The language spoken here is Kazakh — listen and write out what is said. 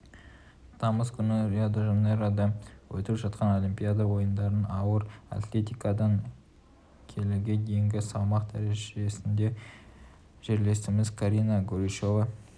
тамыз күні рио-де-жанейрода өтіп жатқан олимпиада ойындарында ауыр атлетикадан келіге дейінгі салмақ дәрежесінде жерлесіміз карина горичева